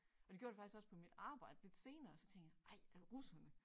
Og det gjorde det faktisk også på mit arbejde lidt senere så tænkte jeg ej er det russerne